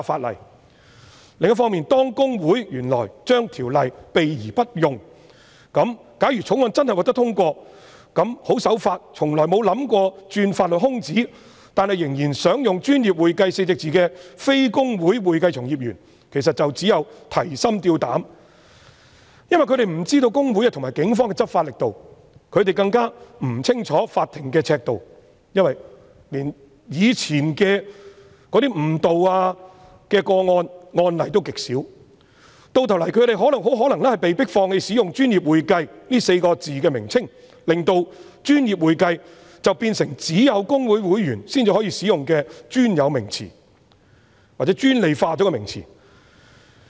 另一方面，公會原來對《條例》避而不用，假如《條例草案》真的獲得通過，那麼十分守法，從來沒有意圖鑽法律空子，但仍然想使用"專業會計"稱謂的非公會會計從業員便會提心吊膽，因為他們不知道會公會和警方的執法力度，他們更不清楚法庭的尺度，因為連過去的誤導個案及案例也極少，到頭來他們很可能被迫放棄使用"專業會計"的稱謂，令"專業會計"變成只有公會會員才能使用的專有名詞，或專利化的名詞。